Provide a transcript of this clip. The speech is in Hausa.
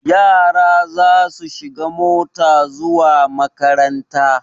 Yara za su shiga mota zuwa makaranta.